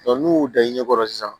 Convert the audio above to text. n'u y'u da i ɲɛ ɲɛ kɔrɔ sisan